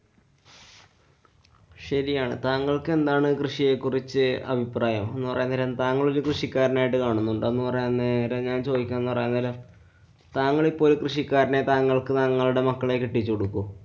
ശരിയാണ്. താങ്കള്‍ക്കെന്താണ് കൃഷിയെ കുറിച്ച് അഭിപ്രായം, എന്നുപറയാന്‍ നേരം താങ്കളൊരു കൃഷിക്കാരനായിട്ടു കാണുന്നുണ്ടോ? എന്നുപറയാന്‍ നേരം ഞാന്‍ ചോദിക്കുന്നതെന്ന് പറയാന്‍ നേരം താങ്കളിപ്പോള്‍ ഒരു കൃഷിക്കാരനെ താങ്കള്‍ക്ക് താങ്കളുടെ മക്കളെ കെട്ടിച്ചു കൊടുക്കോ?